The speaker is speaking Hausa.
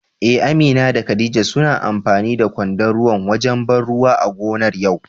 Eh Amina da khadija suna amfani da kwandon ruwa wajen ban ruwa a gonar yau.